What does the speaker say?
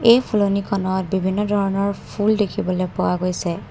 এই ফুলনিখনত বিভিন্ন ধৰণৰ ফুল দেখিবলৈ পোৱা গৈছে।